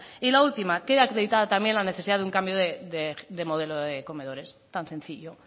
y la última queda acreditada también la necesidad de un cambio de modelo de comedores tan sencillo